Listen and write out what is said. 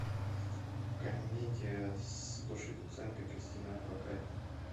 комедия с гошей куценко кристиной орбакайте